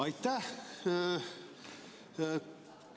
Aitäh!